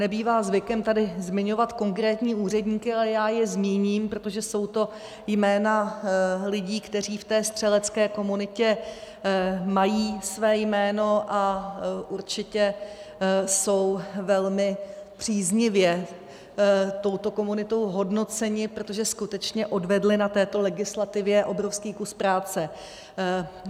Nebývá zvykem tady zmiňovat konkrétní úředníky, ale já je zmíním, protože jsou to jména lidí, kteří v té střelecké komunitě mají své jméno a určitě jsou velmi příznivě touto komunitou hodnoceni, protože skutečně odvedli na této legislativě obrovský kus práce.